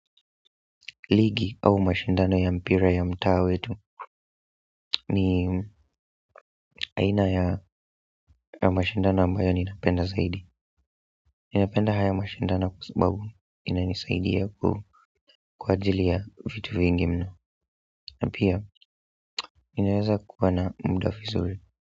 Ligi au mashindano ya mpira ya mtaa wetu ni aina ya mashindano ambayo ninapenda zaidi ninapenda haya mashindano kwa sababu inanisaidia kwa ajili ya vitu vingine na pia ninaweza kuwa na muda vizuri.